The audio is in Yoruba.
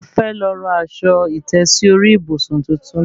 Mo fẹ́ lọ ra aṣọ ìtẹ́sí orí ìbùsùn tuntun